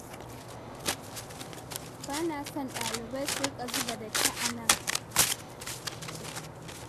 Ba na so ɗalibai su riƙa zuba datti a nan.